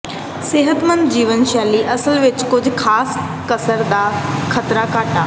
ਸਿਹਤਮੰਦ ਜੀਵਨ ਸ਼ੈਲੀ ਅਸਲ ਵਿੱਚ ਕੁਝ ਖਾਸ ਕਸਰ ਦਾ ਖਤਰਾ ਘਟਾ